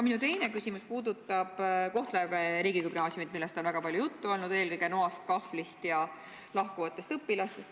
Minu teine küsimus puudutab Kohtla-Järve riigigümnaasiumit, millest on väga palju juttu olnud, eelkõige noast, kahvlist ja lahkuvatest õpilastest.